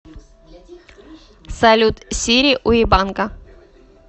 салют сири уебанка